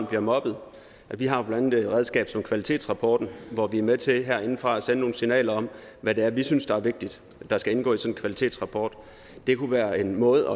bliver mobbet vi har blandt andet et redskab som kvalitetsrapporten hvor vi er med til herindefra at sende nogle signaler om hvad det er vi synes er vigtigt skal indgå i sådan en kvalitetsrapport det kunne være en måde